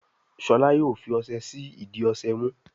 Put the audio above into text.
Shola yóò fí ọṣẹ sí ìdí ọṣẹ mú